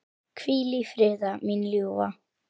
Hvíl í friði, mín ljúfa.